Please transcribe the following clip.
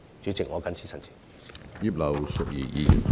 主席，我謹此陳辭。